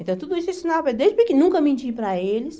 Então, tudo isso ensinava, desde pequeno nunca menti para eles.